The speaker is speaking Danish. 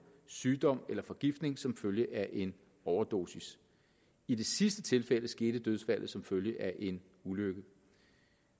sygdom eller forgiftning som følge af en overdosis i det sidste tilfælde skete dødsfaldet som følge af en ulykke